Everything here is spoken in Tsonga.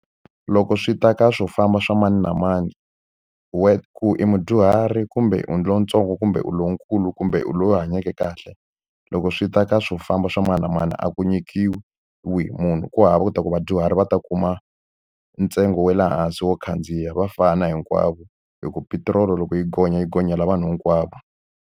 Loko swi ta ka swo famba swa mani na mani, wena ku i mudyuhari, kumbe u lontsongo, kumbe u lonkulu, kumbe u loyi u hanyeke kahle, loko swi ta ka swo famba swa mani na mani a ku nyikiwi munhu. Ku hava leswaku vadyuhari va ta kuma ntsengo wa le hansi wo khandziya, va fana hinkwavo. Hi ku petiroli loko yi gonya yi gonyela vanhu hinkwavo.